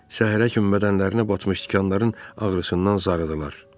Şəhərəkim mədənərinə batmış tikanların ağrısından zarıdılar.